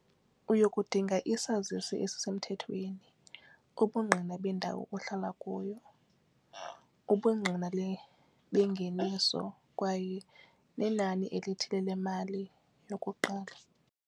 Uyokudinga isazisi esisemthethweni, ubungqina bendawo ohlala kuyo ubungqina bengeniso kwaye nenani elithile lemali yokuqala.